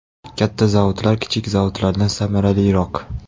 Katta zavodlar kichik zavodlardan samaraliroq.